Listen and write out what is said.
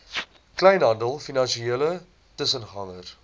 kleinhandel finansiële tussengangers